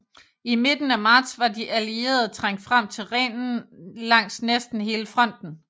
I midten af marts var de Allierede trængt frem til Rhinen langs næsten hele fronten